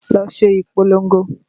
Lọ ṣe ìpolongo!